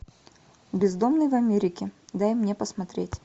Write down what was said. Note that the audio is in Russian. бездомные в америке дай мне посмотреть